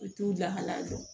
U t'u lahala dɔn